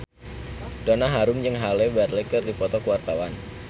Donna Harun jeung Halle Berry keur dipoto ku wartawan